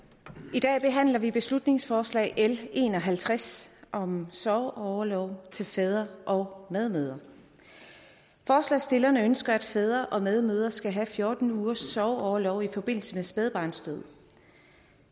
i dag behandler vi beslutningsforslag b en og halvtreds om sorgorlov til fædre og medmødre forslagsstillerne ønsker at fædre og medmødre skal have fjorten ugers sorgorlov i forbindelse med spædbarnsdød